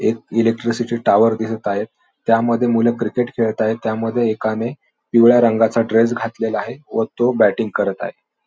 एक electricity tower दिसत आहेत. त्यामध्ये मुले क्रिकेट खेळत आहेत. त्यामध्ये एकाने पिवळ्या रंगाचा ड्रेस घातलेला आहे व तो बॅटिंग करत आहे.